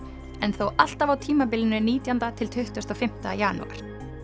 en þó alltaf á tímabilinu nítjándi til tuttugasta og fimmta janúar